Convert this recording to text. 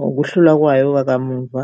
ngokuhlula kwayo wakamuva.